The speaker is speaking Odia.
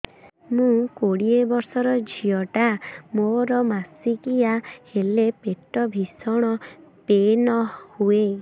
ମୁ କୋଡ଼ିଏ ବର୍ଷର ଝିଅ ଟା ମୋର ମାସିକିଆ ହେଲେ ପେଟ ଭୀଷଣ ପେନ ହୁଏ